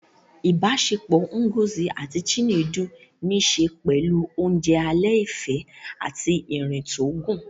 Ìbáṣepọ̀ Ngozi àti Chinedu ní ṣe pẹ̀lú oúnjẹ alẹ́ ìfẹ́ àti ìrìn tó gùn